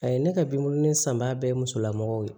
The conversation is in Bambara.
A ye ne ka binkuru in san ba bɛɛ musolamɔgɔw ye